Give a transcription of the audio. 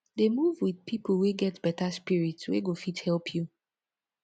dey move wit pipo wey get beta spirit wey go fit help you